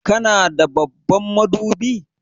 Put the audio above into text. Kana da babban madubi?